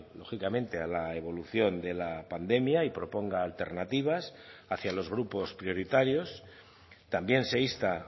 lógicamente a la evolución de la pandemia y proponga alternativas hacia los grupos prioritarios también se insta